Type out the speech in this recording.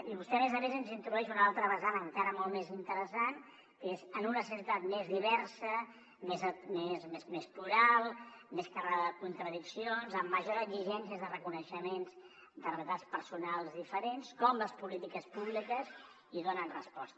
i vostè a més a més ens introdueix una altra vessant encara molt més interessant que és en una societat més diversa més plural més carregada de contradiccions amb majors exigències de reconeixement de realitats personals diferents com les polítiques públiques hi donen resposta